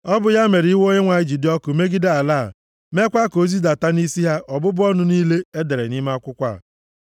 Ọ bụ ya mere iwe Onyenwe anyị ji dị ọkụ megide ala a, meekwa ka o zidata nʼisi ha ọbụbụ ọnụ niile e dere nʼime akwụkwọ a.